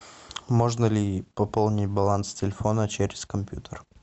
можно ли пополнить баланс телефона через компьютер